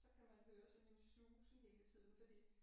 Så kan man høre sådan en susen hele tiden fordi